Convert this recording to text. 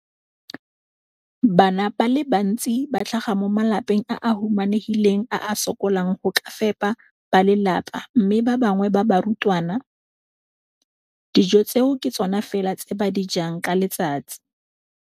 Bana ba le bantsi ba tlhaga mo malapeng a a humanegileng a a sokolang go ka fepa ba lelapa mme ba bangwe ba barutwana, dijo tseo ke tsona fela tse ba di jang ka letsatsi.